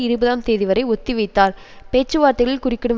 இருபதாம் தேதி வரை ஒத்திவைத்தார் பேச்சுவார்த்தைகளில் குறுக்கிடும்